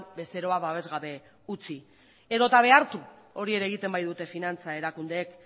bezeroa babes gabe utzi edota behartu hori ere egiten baitute finantza erakundeek